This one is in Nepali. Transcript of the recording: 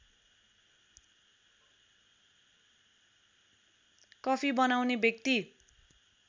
कफी बनाउने व्यक्ति